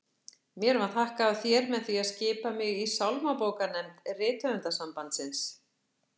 Mér var þakkað af þér með því að skipa mig í sálmabókarnefnd Rithöfundasambandsins!